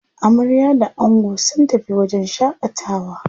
Amarya da ango sun tafi wajen shaƙatawa.